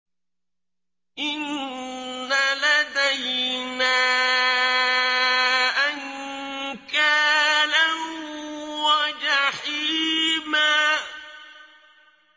إِنَّ لَدَيْنَا أَنكَالًا وَجَحِيمًا